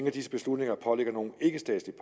af disse beslutninger pålægger nogen ikkestatslig